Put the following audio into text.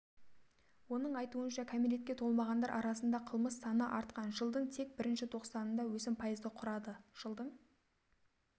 оның айтуынша кәмелетке толмағандар арасында қылмыс саныа артқан жылдың тек бірінші тоқсанында өсім пайызды құрады жылдың